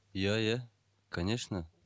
иә иә конечно